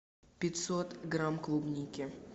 пятьсот грамм клубники